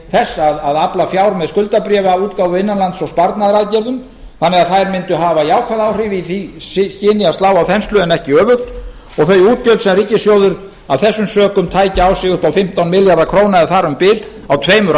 að afla fjár með skuldabréfaútgáfu innanlands og sparnaðaraðgerðum þannig að þær mundu hafa jákvæð áhrif í því skyni að slá á þenslu en ekki öfugt og þau útgjöld sem ríkissjóður af þessum sökum tæki á sig upp á fimmtán milljarða króna eða þar um bil á tveimur